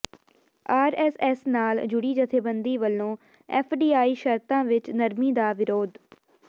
RSS ਨਾਲ ਜੁਡ਼ੀ ਜਥੇਬੰਦੀ ਵੱਲੋਂ ਐਫਡੀਆਈ ਸ਼ਰਤਾਂ ਵਿੱਚ ਨਰਮੀ ਦਾ ਵਿਰੋਧ